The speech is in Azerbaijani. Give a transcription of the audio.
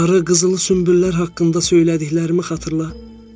Sarı qızıl sümbüllər haqqında söylədiklərimi xatırla!